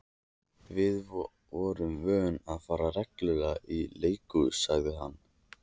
Við vorum vön að fara reglulega í leikhús, sagði hann.